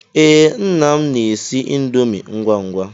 Ee, nna m na-esi índomi ngwa ngwa.